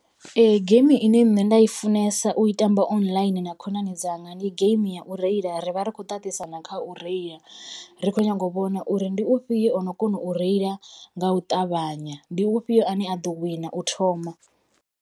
Geimi ine nṋe nda i funesa u tamba online na khonani dzanga ndi game ya u reila ri vha ri khou ṱaṱisana kha u reila ri kho nyaga u vhona uri ndi ufhio ono kona u reila nga u ṱavhanya ndi u fhio ane a ḓo wina u thoma.